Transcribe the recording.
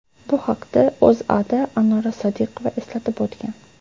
Bu haqda O‘zAda Anora Sodiqova eslatib o‘tgan .